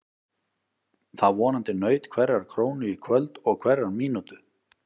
Það vonandi naut hverrar krónu í kvöld og hverrar mínútu.